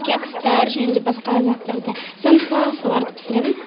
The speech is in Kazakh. кекстар және де басқа заттарды самса соларды пісіремін